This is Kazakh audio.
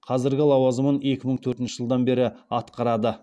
қазіргі лауазымын екі мың төртінші жылдан бері атқарады